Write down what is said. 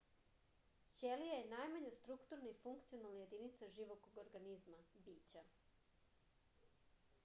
ћелија је најмања структурна и функционална јединица живог организма бића